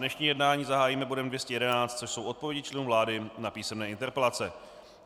Dnešní jednání zahájíme bodem 211, což jsou odpovědi členů vlády na písemné interpelace.